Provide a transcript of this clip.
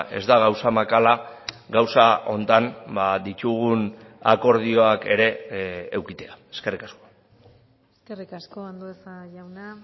ez da gauza makala gauza honetan ditugun akordioak ere edukitzea eskerrik asko eskerrik asko andueza jauna